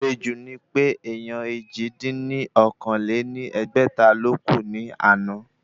Àsejù ni pé èèyàn èjì dín ní okòó-lé-ní-ẹgbẹ́ta ló kú ní àná